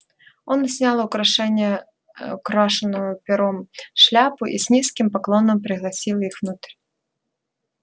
он снял украшение ээ украшенную пером шляпу и с низким поклоном пригласил их внутрь